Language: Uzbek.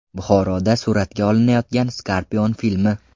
Buxoroda suratga olinayotgan Scorpion filmi.